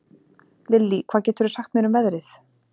Lilly, hvað geturðu sagt mér um veðrið?